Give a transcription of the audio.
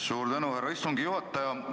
Suur tänu, härra istungi juhataja!